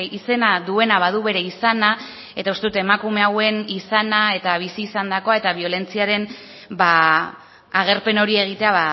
izena duena badu bere izana eta uste dut emakume hauen izana eta bizi izandakoa eta biolentziaren agerpen hori egitea